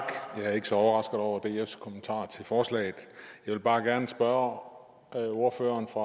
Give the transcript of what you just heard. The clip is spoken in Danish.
jeg er ikke så overrasket over dfs kommentarer til forslaget jeg vil bare gerne spørge ordføreren fra